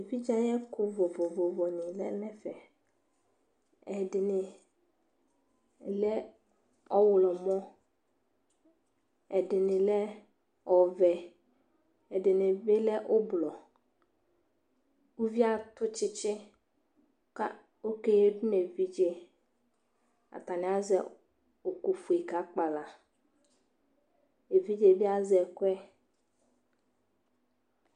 evidze ayɛko vovovo ni lɛ no ɛfɛ ɛdini lɛ ɔwlɔmɔ ɛdini lɛ ɔvɛ ɛdini bi lɛ ublɔ uvie ato tsitsi ko oke yadu no evidze atani azɛ oko fue ka kpala evidze bi azɛ ɛkoɛ